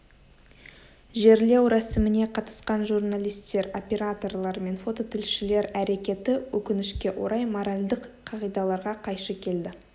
жерлеу рәсіміне қатысқан журналистер операторлар мен фототілшілер әрекеті өкінішке орай моральдық қағидаларға қайшы келді